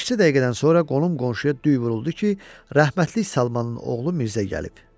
Beş-cə dəqiqədən sonra qolum qonşuya düy vuruldu ki, rəhmətlik Salmanın oğlu Mirzə gəlib.